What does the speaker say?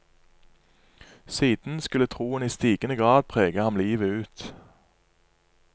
Siden skulle troen i stigende grad prege ham livet ut.